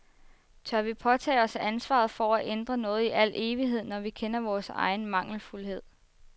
Tør vi påtage os ansvaret for at ændre noget i al evighed, når vi kender vores egen mangelfuldhed.